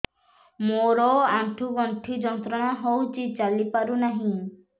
ମୋରୋ ଆଣ୍ଠୁଗଣ୍ଠି ଯନ୍ତ୍ରଣା ହଉଚି ଚାଲିପାରୁନାହିଁ